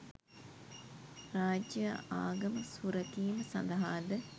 රාජ්‍යය ආගම සුරැකීම සඳහාද